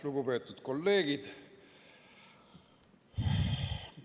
Lugupeetud kolleegid!